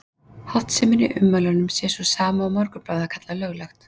Háttsemin í ummælunum sé sú sama og Morgunblaðið hafi kallað Löglegt?